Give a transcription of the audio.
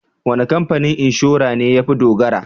Wane kamfanin inshora ne ya fi dogara?